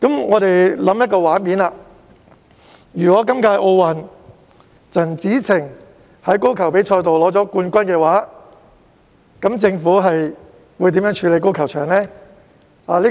我們想想，如果今屆奧運代表陳芷澄在高爾夫球比賽中獲得冠軍，政府將會如何處理高爾夫球場呢？